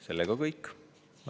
See on kõik.